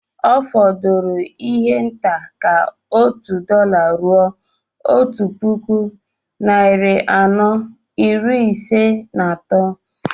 Ọ fọdụrụ ihe nta ka òtù dọla rụo Otu puku, narị anọ, iri Ise na atọ